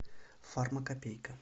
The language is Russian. фармакопейка